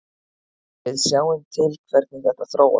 Við sjáum til hvernig þetta þróast.